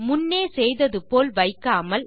முன்னே செய்தது போல வைக்காமல்